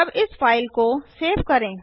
अब इस फाइल के सेव करें